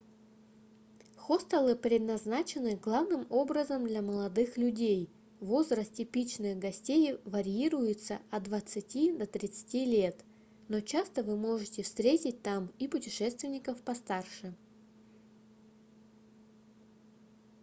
хостелы предназначены главным образом для молодых людей возраст типичных гостей варьируется от двадцати до тридцати лет но часто вы можете встретить там и путешественников постарше